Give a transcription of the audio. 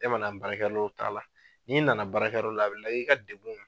E man na baarakɛ yɔrɔ la o t'a la n'i na na baarakɛ yɔrɔ la a bɛ lajɛ i ka degun